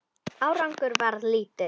Árangur varð lítill.